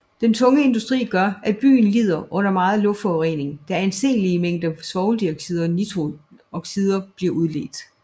Den tunge industri gør at byen lider under meget luftforurening da anseelige mængder svovloxider og nitrogenoxider bliver udledt